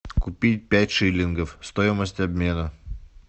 купить пять шиллингов стоимость обмена